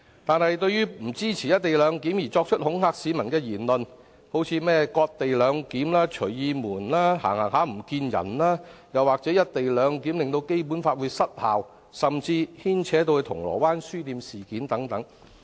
但是，不支持"一地兩檢"的人士作出了種種恐嚇市民的言論，提出例如"割地兩檢"、"隨意門"、"忽然失蹤"等說法，又或指"一地兩檢"令《基本法》失效，甚至牽扯到銅鑼灣書店事件等。